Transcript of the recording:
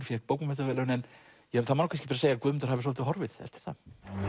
fékk bókmenntaverðlaunin þá má kannski segja að Guðmundur hafi svolítið horfið eftir það